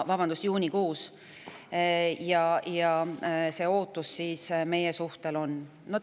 Selline ootus meie suhtes on.